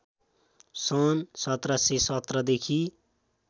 सन् १७१७ देखि